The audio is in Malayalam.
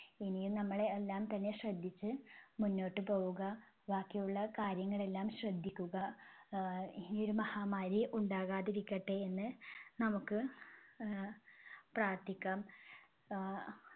ഇനിയും നമ്മളെ എല്ലാം തന്നെ ശ്രദ്ധിച്ച് മുന്നോട്ട് പോവുക. ബാക്കിയുള്ള കാര്യങ്ങളെല്ലാം ശ്രദ്ധിക്കുക. ആഹ് ഇനി ഒരു മഹാമാരി ഉണ്ടാകാതിരിക്കട്ടെ എന്ന് നമുക്ക് ആഹ് പ്രാർത്ഥിക്കാം. ആഹ്